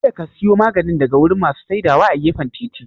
Kada ka siya maganin daga wurin masu saidawa a gefen titi